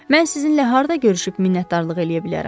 Mən sizinlə harda görüşüb minnətdarlıq eləyə bilərəm?